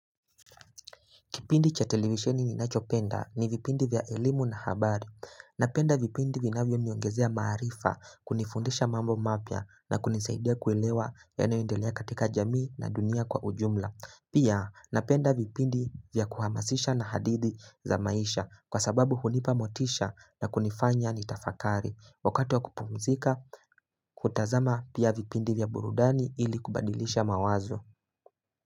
Kipindi cha televisheni ninachopenda ni vipindi vya elimu na habari. Napenda vipindi vinavyo niongezea maarifa, kunifundisha mambo mapya na kunisaidia kuelewa yanayoendelea katika jamii na dunia kwa ujumla. Pia napenda vipindi vya kuhamasisha na hadithi za maisha kwa sababu hunipa motisha na kunifanya ni tafakari. Wakati wa kupumzika hutazama pia vipindi vya burudani ili kubadilisha mawazo.